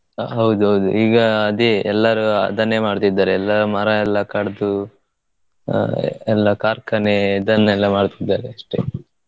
ಹೌದೌದು ಈಗ ಅದೇ ಎಲ್ಲಾರು ಅದನ್ನೇ ಮಾಡ್ತಿದ್ದಾರೆ ಎಲ್ಲಾ ಮರ ಎಲ್ಲಾ ಕಡ್ದು ಹಾ ಎಲ್ಲಾ ಕಾರ್ಖಾನೆ ಇದನ್ನೆಲ್ಲ ಮಾಡ್ತಿದ್ದಾರೆ ಅಷ್ಟೇ.